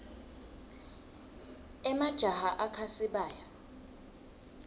emajaha akha sibaya